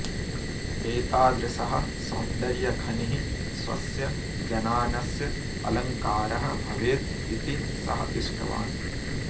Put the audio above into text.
एतादृशः सौन्दर्यखनिः स्वस्य जनानस्य अलङ्कारः भवेत् इति सः इष्टवान्